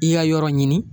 I ka yɔrɔ ɲini